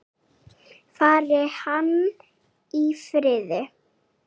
Fari hann í friði.